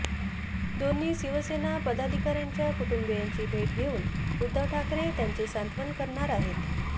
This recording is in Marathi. दोन्ही शिवसेना पदाधिकाऱ्यांच्या कुटुंबियांची भेट घेऊन उद्धव ठाकरे त्यांचे सांत्वन करणार आहेत